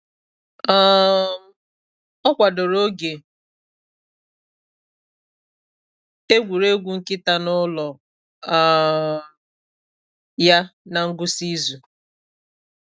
um Ọ kwadoro oge egwuregwu nkịta n’ụlọ um ya na ngwụsị izu.